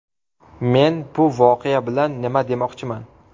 Men bu voqea bilan nima demoqchiman?